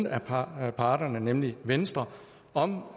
af parterne parterne nemlig venstre om